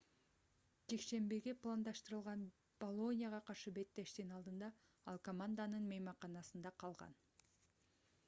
жекшембиге пландаштырылган болонияга каршы беттештин алдында ал команданын мейманканасында калган